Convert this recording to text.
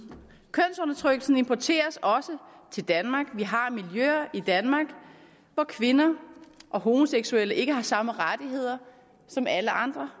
kønsundertrykkelsen importeres også til danmark vi har miljøer i danmark hvor kvinder og homoseksuelle ikke har samme rettigheder som alle andre